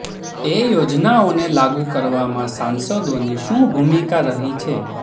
એ યોજનાઓને લાગૂ કરાવવામાં સાંસદોની શું ભૂમિકા રહી છે